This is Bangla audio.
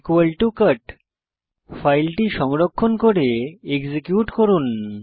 cut ফাইলটি সংরক্ষণ করে এক্সিকিউট করুন